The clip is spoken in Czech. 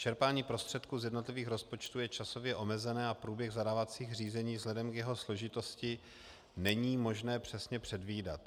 Čerpání prostředků z jednotlivých rozpočtů je časově omezené a průběh zadávacích řízení vzhledem k jeho složitosti není možné přesně předvídat.